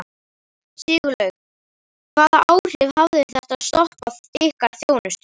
Sigurlaug, hvaða áhrif hafði þetta stopp á ykkar þjónustu?